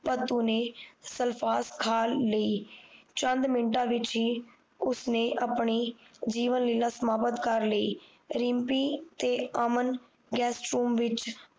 ਭਤੁ ਨੇ ਸਲਫਾਸ ਖਾ ਲਈ ਚੰਦ ਮਿੰਟਾਂ ਵਿੱਚ ਈ ਉਸਨੇ ਆਪਣੀ ਜੀਵਨ ਸਮਾਪਤ ਕਰ ਲਈ ਰਿਮਪੀ ਤੇ ਅਮਨ ਗੁਏਸਟਰੂਮ ਵਿੱਚ